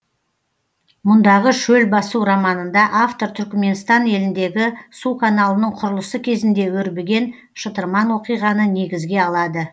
мұндағы шөл басу романында автор түрікменстан еліндегі су каналының құрылысы кезінде өрбіген шытырман оқиғаны негізге алады